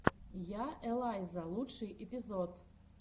я элайза лучший эпизод